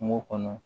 Kungo kɔnɔ